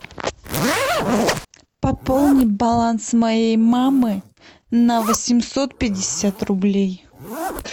пополни баланс моей мамы на восемьсот пятьдесят рублей